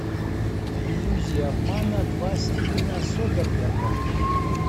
иллюзия обмана два стивена содерберга